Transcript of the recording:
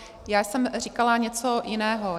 Já jsem říkala něco jiného.